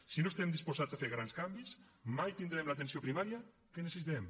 si no estem disposats a fer grans canvis mai tindrem l’atenció primària que necessitem